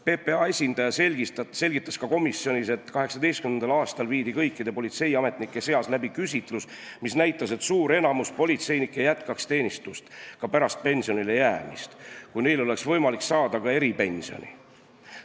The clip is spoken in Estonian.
PPA esindaja selgitas komisjonis, et 2018. aastal tehti kõikide politseiametnike seas küsitlus, mis näitas, et enamik politseinikke jätkaks teenistust ka pärast pensionile jäämist, kui neil oleks võimalik saada eripensioni.